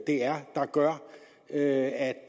er der gør at